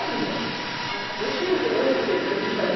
abia. Aham. Eu tinha esse, eu sempre, eu então, eu